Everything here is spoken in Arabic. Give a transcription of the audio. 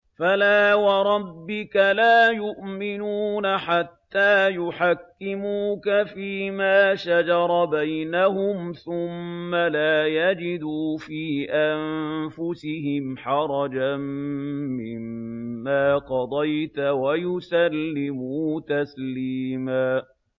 فَلَا وَرَبِّكَ لَا يُؤْمِنُونَ حَتَّىٰ يُحَكِّمُوكَ فِيمَا شَجَرَ بَيْنَهُمْ ثُمَّ لَا يَجِدُوا فِي أَنفُسِهِمْ حَرَجًا مِّمَّا قَضَيْتَ وَيُسَلِّمُوا تَسْلِيمًا